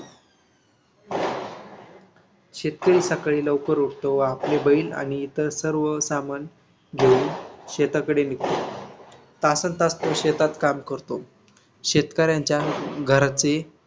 शेतकरी सकाळी लवकर उठतो व आपले बैल आणि इतर सर्व सामान घेऊन शेताकडे निघतो. तासंनतास तो शेतात काम करतो. शेतकऱ्यांच्या घराची